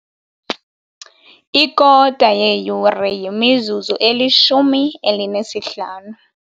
Ikota yeyure yimizuzu elishumi elinesihlanu.